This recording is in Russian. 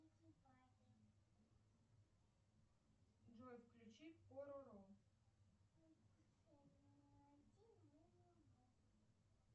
джой включи ороро